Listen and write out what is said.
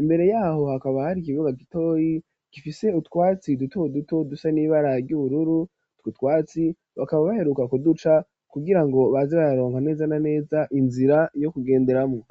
imbere yaho hakaba hari ikibuga gitoyi gifise utwatsi duto duto dusa n'ibara ry' ubururu twotwatsi bakaba baheruka kuduca kugirango baze bararonga neza na neza inzira yo ku genderamwo